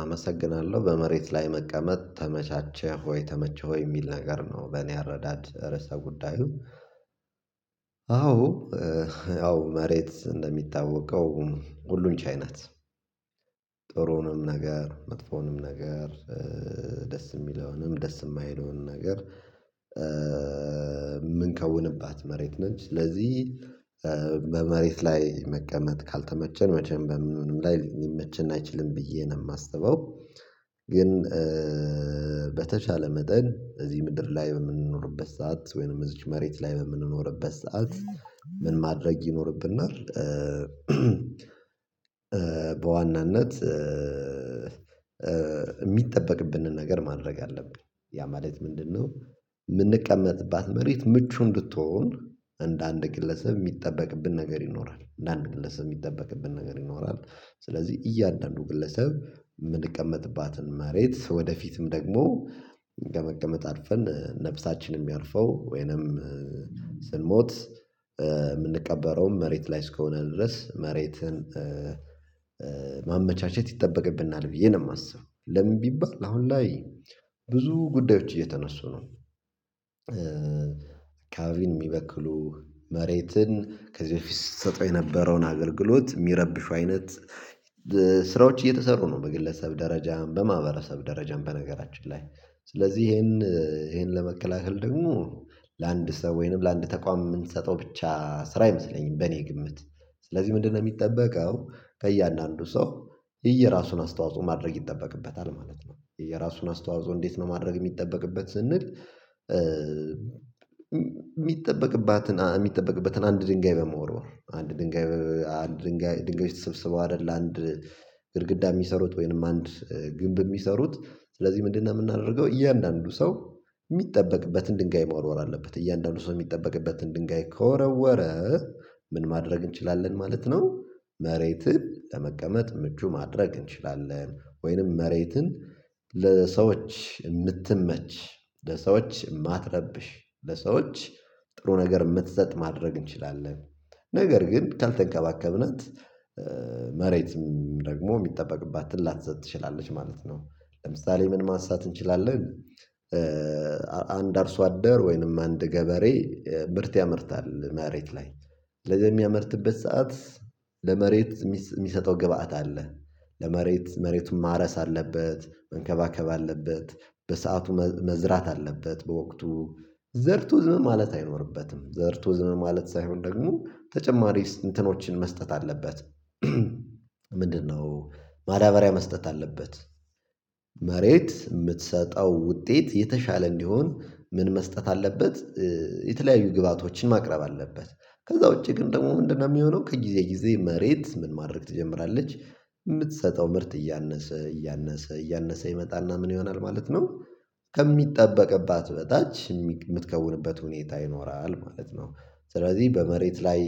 አመሰግናለሁ በመሬት ላይ መቀመጥ ተመቻቸህ ወይ ተመቸህ? ወይ የሚል ነገር ነው በእኔ አረዳድ ርዕሰ ጉዳዩ አዎ መሬት እንደሚታወቀው ሁሉን ቻይ ናት ጥሩንም ነገር መጥፎውንም ነገር ደስ የሚለውንም ደስ የማይለውንም ነገር የምንከውንባት መሬት ነች ስለዚህ በመሬት ላይ መቀመጥ ካልተመቸን መቼም በምንም ላይ ሊመችን አይችልም ብዬ ነው የማስበው ግን በተሻለ መጠን እዚህ ምድር ላይ በምንኖርበት ሰዓት ወይንም እዚች መሬት ላይ በምንኖርበት ሰዓት ምን ማድረግ ይኖርብናል በዋናነት የሚጠበቅብንን ነገር ማድረግ አለብን ያ ማለት ምንድነው የምንቀመጥባት መሬት ምቹ እንድትሆን እንደ አንድ ግለሰብ የሚጠበቅብን ነገር ይኖራል እንደ አንድ ግለሰብ የሚጠበቅብን ነገር ይኖራል ስለዚህ እያንዳንዱ ግለሰብ መሬት ወደፊትም ደግሞ ለመቀመጥ አርፈን ነፍሳችንን የሚያርፈው ወይንም ስንሞት የምንቀበረውም መሬት ላይ እስከሆነ ድረስ መሬትን ማመቻቸት ይጠበቅብናል ብዬ ነው የማስብ ለምን ቢባል አሁን ላይ ብዙ ጉዳዮች እየተነሱ ነው። አካባቢን የሚበክሉ መሬትን ከዚህ በፊት ስትሰጠው የነበረውን አገልግሎት የሚረብሹ አይነት ስራዎች እየተሰሩ ነው በግለሰብ ደረጃ በማህበረሰብም ደረጃም በነገራችን ላይ ስለዚህ ይሄን ይሄን ለመከላከል ደግሞ ላንድ ሰው ወይንም ለአንድ ተቋም የምንሰጠው ብቻ ስራ አይመስለኝም በእኔ ግምት ስለዚህ ምንድነው የሚጠበቀው ከእያንዳንዱ ሰው እየራሱን አስተዋጽኦ ማድረግ ይጠበቅበታል ማለት ነው፣ እየራሱን አስተዋጽኦ እንዴት ነው ማድረግ የሚጠበቅበት ስንል የሚጠበቅባትን የሚጠበቅበትን አንድ ድንጋይ በመወርወር አንድ ድንጋይ አንድ ድንጋይ ድንጋዮች ተስብስበው አይደል አንድ ግድግዳ የሚሰሩት ወይንም አንድ ግንብ የሚሰሩት ስለዚህ ምንድነው የምናደርገው እያንዳንዱ ሰው የሚጠበቅበትን ድንጋይ መወርወር አለበት። እያንዳንዱ ሰው የሚጠበቅበትን ድንጋይ ከወረወረ ምን ማድረግ እንችላለን ማለት ነው መሬትን ለመቀመጥ ምቹ ማድረግ እንችላለን ወይንም መሬትን ለሰዎች የምትመች ለሰዎች የማትረብሽ ለሰዎች ጥሩ ነገር የምትሰጥ ማድረግ እንችላለን። ነገር ግን ካልተንከባከብናት መሬትም ደግሞ የሚጠበቅባትን ላተሰጥ ትችላለች ማለት ነው፣ ለምሳሌ ምን ማንሳት እንችላለን አንድ አርሶ አደር ወይንም አንድ ገበሬ ብርት ያመርታል መሬት ላይ ስለዚህ በሚያመርትበት ሰዓት ለመሬት የሚሰጠው ግብአት አለ ለመሬት መሬቱን ማረስ አለበት መንከባከብ አለበት በሰአቱ መዝራት አለበት በወቅቱ ዘርቶ ዝም ማለት አይኖርበትም ዘርቶ ዝም ማለት ሳይሆን ደግሞ ተጨማሪ እንትኖችን መስጠት አለበት ምንድነው ማዳበሪያ መስጠት አለበት፣ መሬት የምትሰጠው ውጤት የተሻለ እንዲሆን ምን መስጠት አለበት የተለያዩ ግብአቶችን ማቅረብ አለበት ከዛ ውጪ ግን ደግሞ ምንድነው የሚሆነው ከጊዜ ጊዜ መሬት ምን ማድረግ ትጀምራለች የምትሰጠው ምርት እያነሰ እያነሰ እያነሰ ይመጣና ምን ይሆናል ማለት ነው ከሚጠበቅባት በታች የምትከውንበት ሁኔታ ይኖራል ማለት ነው ስለዚህ በመሬት ላይ